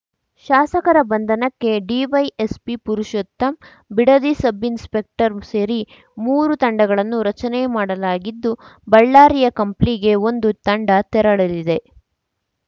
ಶಾಸಕರ ಬಂಧನಕ್ಕೆ DYSP Purushottam Bidadi sub inspector ಸೇರಿ ಮೂರು ತಂಡಗಳನ್ನು ರಚನೆ ಮಾಡಲಾಗಿದ್ದು ಬಳ್ಳಾರಿಯ ಕಂಪ್ಲಿಗೆ ಒಂದು ತಂಡ ತೆರಳಲಿದೆ